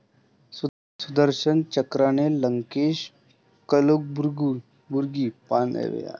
सुदर्शन चक्रा'ने लंकेश, कलबुर्गी, पानसरेंचा खून, अमोल काळेच होता मास्टर प्लॅनर